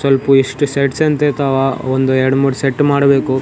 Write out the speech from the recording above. ಸ್ವಲ್ಪು ಎಸ್ಟ್ ಸೆಟ್ಸ್ ಅಂತ ಇರ್ತಾವ ಒಂದು ಎರ್ಡ್ ಮೂರ್ ಸೆಟ್ ಮಾಡಬೇಕು.